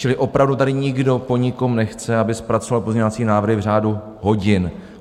Čili opravdu tady nikdo po nikom nechce, aby zpracoval pozměňovací návrhy v řádu hodin.